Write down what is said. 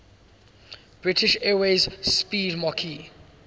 british airways 'speedmarque